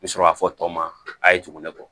N bɛ sɔrɔ ka fɔ tɔw ma a ye tugun ne kɔ